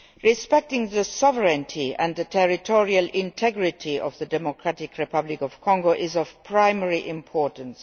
Respecting the sovereignty and the territorial integrity of the Democratic Republic of Congo is of primary importance.